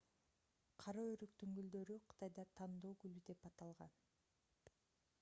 кара өрүктүн гүлдөрү кытайда тандоо гүлү деп аталган